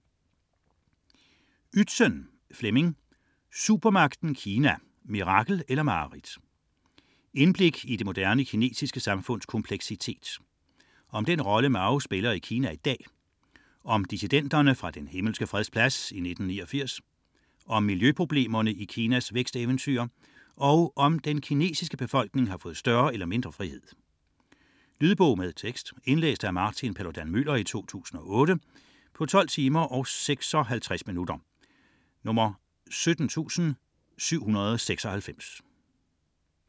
98.28 Ytzen, Flemming: Supermagten Kina: mirakel eller mareridt Indblik i det moderne kinesiske samfunds kompleksitet. Om den rolle Mao spiller i Kina i dag, om dissidenterne fra den Himmelske Freds Plads 1989, om miljøproblemerne i Kinas væksteventyr og om den kinesiske befolkning har fået større eller mindre frihed. Lydbog med tekst 17796 Indlæst af Martin Paludan-Müller, 2008. Spilletid: 12 timer, 56 minutter.